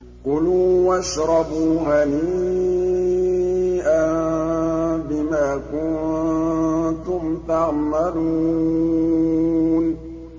كُلُوا وَاشْرَبُوا هَنِيئًا بِمَا كُنتُمْ تَعْمَلُونَ